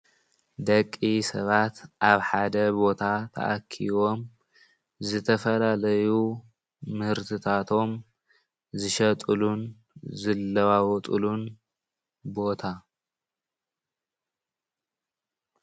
ደቂ ሰባት ኣብ ሓደ ቦታ ተኣኪቦም ዝተፈላለዩ ምህርትታቶም ዝሸጥሉን ዝለዋወጥሉን ቦታ።